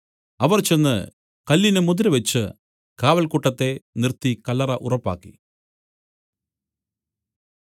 അവർ ചെന്ന് കല്ലിന് മുദ്രവെച്ചു കാവൽക്കൂട്ടത്തെ നിർത്തി കല്ലറ ഉറപ്പാക്കി